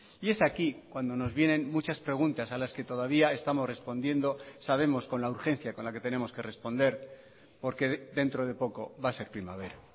y es aquí cuando nos vienen muchas preguntas a las que todavía estamos respondiendo sabemos con la urgencia con la que tenemos que responder porque dentro de poco va a ser primavera